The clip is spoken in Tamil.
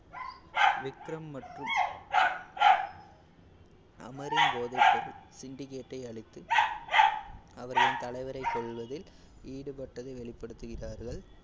விக்ரம் மற்றும் அமரின் போதைப்பொருள் syndicate ஐ அழித்து அவரின் தலைவரை கொல்வதில் ஈடுபட்டதை வெளிப்படுத்துகிறார்கள்.